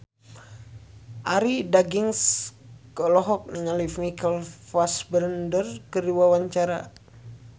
Arie Daginks olohok ningali Michael Fassbender keur diwawancara